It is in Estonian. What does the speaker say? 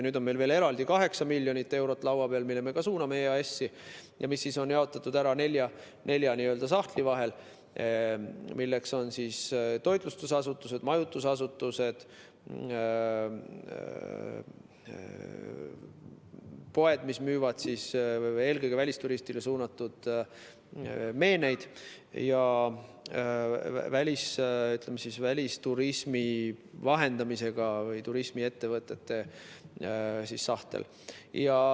Nüüd on meil veel eraldi 8 miljonit eurot laua peal, mille me ka suuname EAS‑i ja mis on jaotatud nelja sahtli vahel, milleks on toitlustusasutused, majutusasutused, poed, mis müüvad eelkõige välisturistile suunatud meeneid, ja välisturismi vahendamise või turismiettevõtted.